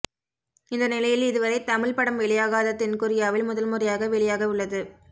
இந்த நிலையில் இதுவரை தமிழ் படம் வெளியாகாத தென்கொரியாவில் முதல் முறையாக வெளியாக உள்ளது